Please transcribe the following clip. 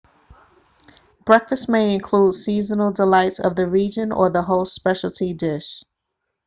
breakfast may include seasonal delights of the region or the host's speciality dish